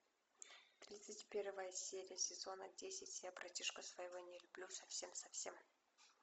тридцать первая серия сезона десять я братишку своего не люблю совсем совсем